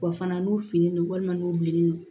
Wa fana n'u fini don walima n'u bilennen don